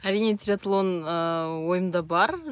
әрине триатлон ыыы ойымда бар